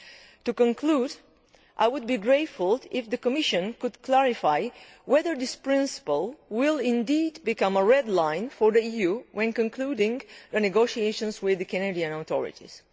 Finally, I would be grateful if the Commission could clarify whether this principle will indeed become a red line' for the EU when it is concluding negotiations with the Canadian authorities.